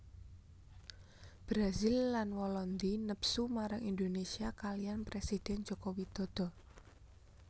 Brazil lan Walandi nepsu marang Indonésia kaliyan présidèn Joko Widodo